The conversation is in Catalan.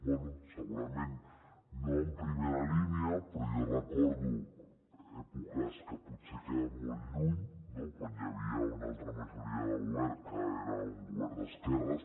bé segurament no en primera línia però jo recordo èpoques que potser queden molt lluny no quan hi havia una altra majoria de govern que era un govern d’esquerres